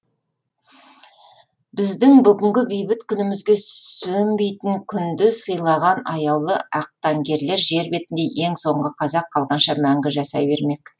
біздің бүгінгі бейбіт күнімізге сөнбейтін күнді сыйлаған аяулы ақтаңгерлер жер бетінде ең соңғы қазақ қалғанша мәңгі жасай бермек